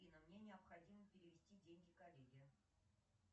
афина мне необходимо перевести деньги коллеге